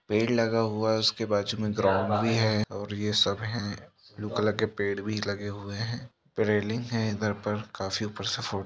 पेड़ लगा हुआ है उसके बाजु मैं ग्राउंड भी है और यह सब है ब्लू कलर के पेड़ भी लगे हुए है रेलिंग है काफी ऊपर सी फो--